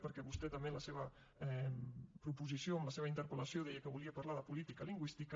perquè vostè també en la seva proposició en la seva interpel·lació deia que volia parlar de política lingüística